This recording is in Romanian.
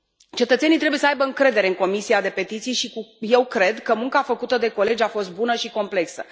Cetățenii trebuie să aibă încredere în Comisia pentru petiții și eu cred că munca făcută de colegi a fost bună și complexă.